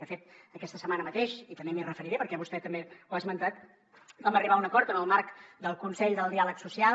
de fet aquesta setmana mateix i també m’hi referiré perquè vostè també ho ha esmentat vam arribar a un acord en el marc del consell del diàleg social